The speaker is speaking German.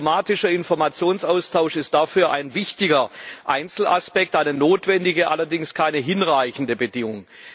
Ein automatischer Informationsaustausch ist dafür ein wichtiger Einzelaspekt eine notwendige, allerdings keine hinreichende Bedingung.